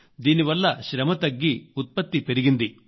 దీని వల్ల శ్రమ తగ్గి ఉత్పత్తి పెరిగింది